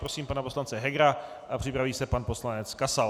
Prosím pana poslance Hegera a připraví se pan poslanec Kasal.